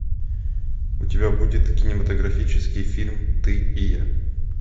у тебя будет кинематографический фильм ты и я